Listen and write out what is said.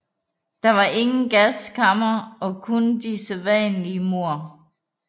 Der var der ingen gaskamre og kun de sædvanlige mord